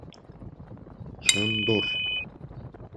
шандор